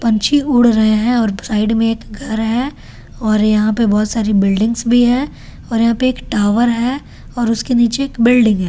पक्षी उड़ रहे हैं और साइड में एक घर है और यहां पे बहुत सारे बिल्डिंग्स भी हैं वहां पे एक टॉवर है उसके नीचे बिल्डिंग है।